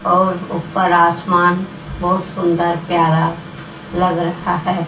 और ऊपर आसमान बहुत सुंदर प्यारा लग रहा है।